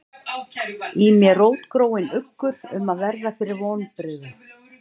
Í mér rótgróinn uggur um að verða fyrir vonbrigðum